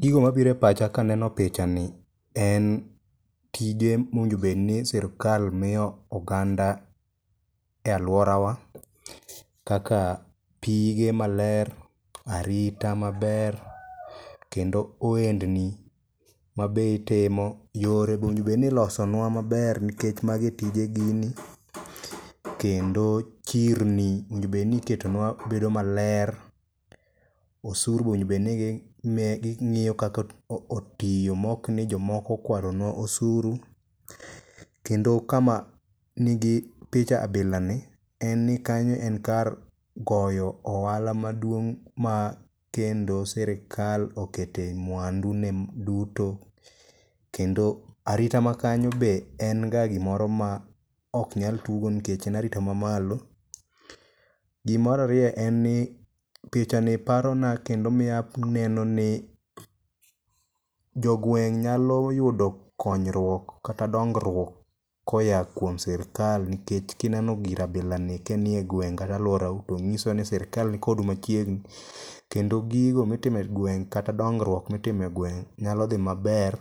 Gigo mabiro e pacha kaneno picha ni en tije mowinjo bedni sirkal miyo oganda e alworawa kaka pige maler, arita maber kendo ohendni ma be itimo, yore bowinjo bed ni ilosonwa maber nkech magi e tije gini. Kendo chirni owinjo bedni iketonwa bedo maler, osuru be owinjobed ni ging'iyo kaka otiyo mokni jomoko okwalonwa osuru, kendo kama nigi picha abilani en ni kanyo en kar goyo ohala maduong' ma kendo sirkal okete mwandune duto, kendo arita makanyo be en ga gimoro ma ok nyal tuggo nikech en ga arita mamalo. Gimar ariyo en ni picha ni parona kendo miyo aneno ni jogweng' nyalo yudo konyruok kata dongruok koya kuom sirkal nkech kineno gir abilani kanie gweng' kata alworau to ng'iso ni sirkal ni kodu machiegni kendo gigo mitimo e gweng' kata dongruok mitimo e gweng' nyalo dhi maber